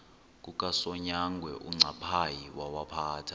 kukasonyangwe uncaphayi wawaphatha